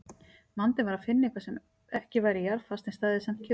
Vandinn var að finna eitthvað sem væri ekki jarðfast en stæði samt kjurt.